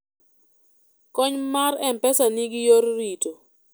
kony mar mpesa nigi yor rito